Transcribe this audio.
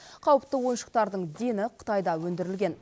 қауіпті ойыншықтардың дені қытайда өндірілген